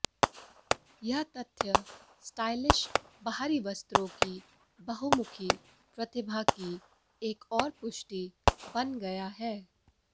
यह तथ्य स्टाइलिश बाहरी वस्त्रों की बहुमुखी प्रतिभा की एक और पुष्टि बन गया है